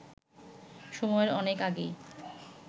সময়ের অনেক আগেই